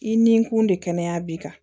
I ni kun de kɛnɛya b'i kan